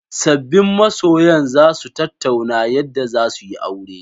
Sabbin masoyan za su tattauna yadda za su yi aure.